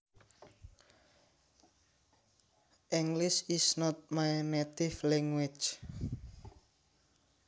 English is not my native language